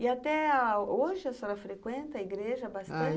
E até hoje a senhora frequenta a igreja bastante?